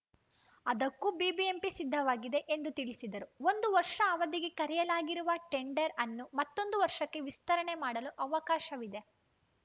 ಅದಕ್ಕೂ ಬಿಬಿಎಂಪಿ ಸಿದ್ಧವಾಗಿದೆ ಎಂದು ತಿಳಿಸಿದರು ಒಂದು ವರ್ಷ ಅವಧಿಗೆ ಕರೆಯಲಾಗಿರುವ ಟೆಂಡರ್‌ಅನ್ನು ಮತ್ತೊಂದು ವರ್ಷಕ್ಕೆ ವಿಸ್ತರಣೆ ಮಾಡಲು ಅವಕಾಶವಿದೆ